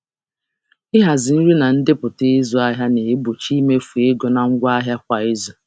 Ịhazi nri na ndepụta ịzụ ahịa na-egbochi imefu oke na ngwa nri kwa izu.